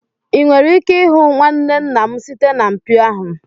ị nwere ike ịhụ nwanne nna m site na mpio ahụ